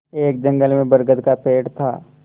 एक जंगल में बरगद का पेड़ था